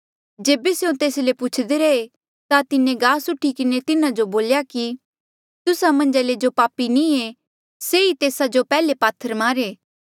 जेबे स्यों तेस ले पुछदे रहे ता तिन्हें गास उठी किन्हें तिन्हा जो बोल्या कि तुस्सा मन्झा ले जो पापी नी हो से ही तेस्सा जो पैहले पात्थर मारे